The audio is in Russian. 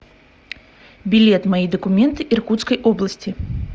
билет мои документы иркутской области